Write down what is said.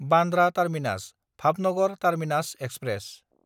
Bandra टार्मिनास–भाबनगर terminus express